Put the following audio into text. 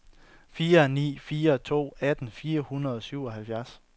fire ni fire to atten fire hundrede og syvoghalvfjerds